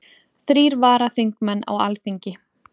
Þrír varaþingmenn á Alþingi